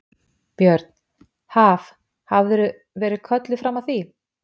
Björn: Haf, hafðirðu verið kölluð fram að því?